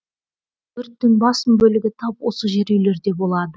өрттің басым бөлігі тап осы жер үйлерде болады